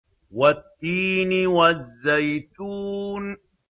وَالتِّينِ وَالزَّيْتُونِ